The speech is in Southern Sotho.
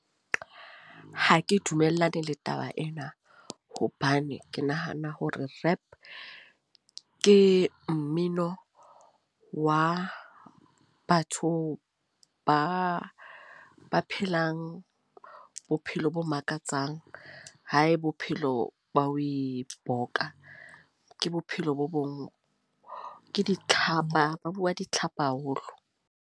Ha ke dumellane le taba ena. Hobane ke nahana hore Rap, ke mmino wa batho ba ba phelang bophelo bo makatsang. Ha e bophelo ba ho iroka. Ke bophelo bo bong, ke ditlhapa. Ba bua ditlhapa haholo.